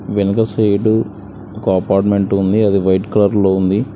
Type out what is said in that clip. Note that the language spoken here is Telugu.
వెనక సైడు ఒక అపార్ట్మెంట్ ఉంది అది వైట్ కలర్ లో ఉంది.